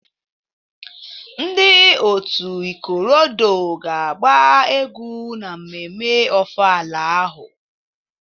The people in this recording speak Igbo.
Ndị otu ikorodoo ga-agba egwu na mmemme Ofala ahụ.